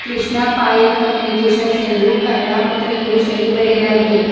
Krishna Payal communications ಎಂದು ಕನ್ನಡ ಮತ್ತು English ನಲ್ಲಿ ಬರೆಯಲಾಗಿದೆ.